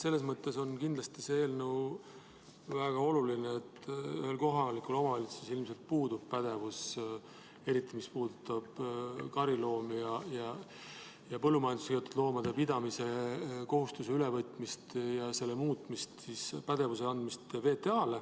Selles mõttes on see eelnõu kindlasti väga oluline, et kohalikul omavalitsusel ilmselt puudub see pädevus, eriti mis puudutab kariloomade ja põllumajandusloomade pidamise kohustuse ülevõtmist, ja oluline ka selle pädevuse andmise mõttes VTA-le.